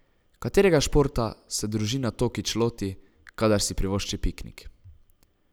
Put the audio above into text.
Katerega športa se družina Tokić loti, kadar si privošči piknik?